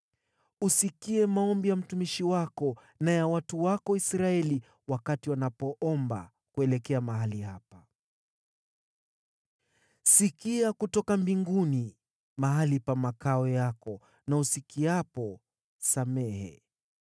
Usikie maombi ya mtumishi wako na ya watu wako Israeli wakati wanapoomba kuelekea mahali hapa. Sikia kutoka mbinguni, mahali pa makao yako na usikiapo, samehe.